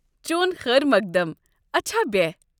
چون خٲر مۄقدم ، اچھا بیہہ ۔